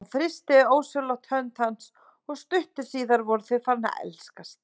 Hún þrýsti ósjálfrátt hönd hans og stuttu síðar voru þau farin að elskast.